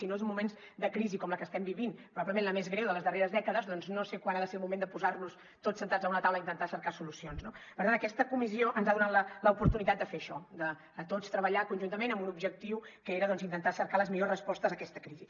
si no és en moments de crisi com la que estem vivint probablement la més greu de les darreres dècades doncs no sé quan ha de ser el moment de posar nos tots asseguts en una taula a intentar cercar solucions no per tant aquesta comissió ens ha donat l’oportunitat de fer això de tots treballar conjuntament amb un objectiu que era intentar cercar les millors respostes a aquesta crisi